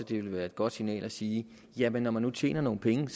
det ville være et godt signal at sige jamen når man nu tjener nogle penge